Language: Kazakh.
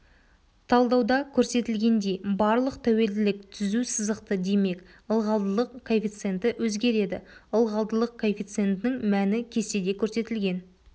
талдауда көрсетілгендей барлық тәуелділік түзу сызықты демек ылғалдылық коэффициенті өзгереді ылғалдылық коэффициентінің мәні кестеде көрсетілген